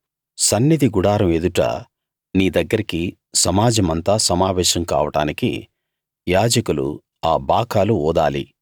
సన్నిధి గుడారం ఎదుట నీ దగ్గరికి సమాజమంతా సమావేశం కావడానికి యాజకులు ఆ బాకాలు ఊదాలి